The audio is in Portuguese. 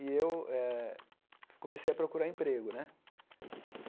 E eu eh comecei a procurar emprego né.